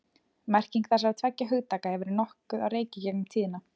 Merking þessara tveggja hugtaka hefur verið nokkuð á reiki í gegnum tíðina.